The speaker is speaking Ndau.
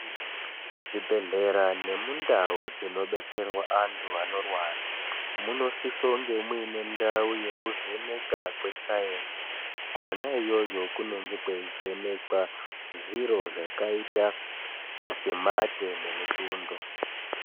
Muzvibhedhlera nemundau dzinodetserwa vantu vanorwara munosisa kunge munendau yekuvheneka kwesayenzi kwona iyoyo kunenge kweivhenekwa zviro zvakaita semate nemutundo.